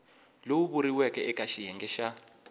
lowu vuriweke eke xiyenge xa